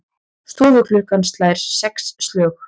Stofuklukkan slær sex slög.